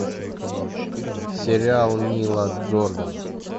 сериал нила джордана